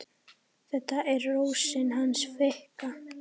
Þetta er Rósin hans Fikka.